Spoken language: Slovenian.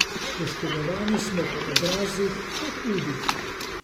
Poškodovane smo po obrazih, udih.